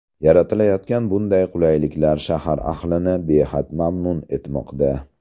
Yaratilayotgan bunday qulayliklar shahar ahlini behad mamnun etmoqda.